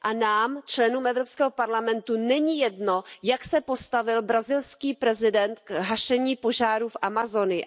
A nám, členům Evropského parlamentu, není jedno, jak se postavil brazilský prezident k hašení požárů v Amazonii.